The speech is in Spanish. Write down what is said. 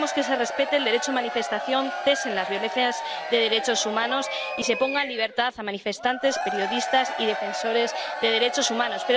Queremos que se respete el derecho de manifestación, cesen las violaciones de derechos humanos y se ponga en libertad a manifestantes, periodistas y defensores de los derechos humanos.